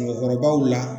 Mɔgɔkɔrɔbaw la